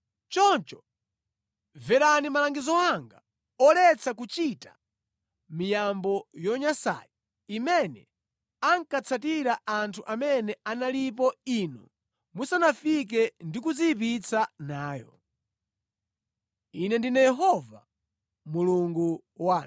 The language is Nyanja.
Choncho mverani malangizo anga oletsa kuchita miyambo yonyansayi imene ankatsatira anthu amene analipo inu musanafike ndi kudziyipitsa nayo. Ine ndine Yehova Mulungu wanu.’ ”